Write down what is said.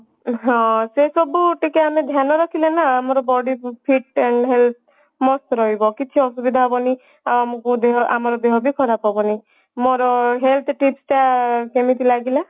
ହଁ ସେସବୁ ଟିକେ ଆମେ ଧ୍ୟାନ ରଖିଲେ ନା ଆମର body fit time health mast ରହିବ କିଛି ଅସୁବିଧା ହେବନି ଆଉ ଆମକୁ ଦେହ ଆମ ଦେହ ବି ଖରାପ ହେବନି ମୋର health tips ଟା କେମିତି ଲାଗିଲା